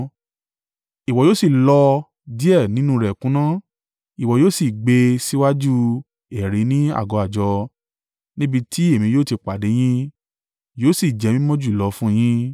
Ìwọ yóò sì lọ díẹ̀ nínú rẹ̀ kúnná, ìwọ yóò sì gbé e síwájú ẹ̀rí ní àgọ́ àjọ, níbi tí èmi yóò ti pàdé yín. Yóò sì jẹ́ mímọ́ jùlọ fún yín.